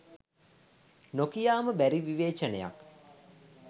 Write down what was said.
නොකියාම බැරි විවේචනයක්